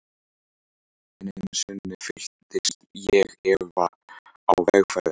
Enn einu sinni fylltist ég efa á vegferðinni.